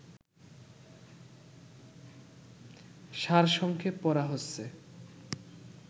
সারসংক্ষেপ পড়া হচ্ছে